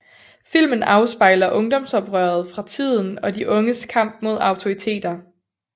Filmen afspejler ungdomsoprøret fra tiden og de unges kamp mod autoriteter